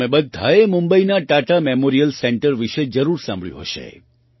તમે બધાએ મુંબઈના ટાટા મેમોરિયલ સેન્ટર વિશે જરૂર સાંભળ્યું હશે